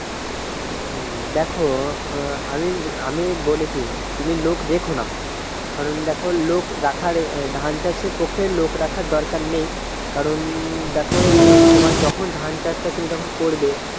হম দ্যাখো আমি আমি বলি কী তুমি লোক রেখো না কারণ দেখো লোক রাখা ধান চাষের পক্ষে লোক রাখার দরকার নেই কারণ দেখো তোমার যখন ধান চাষটা তুমি যখন করবে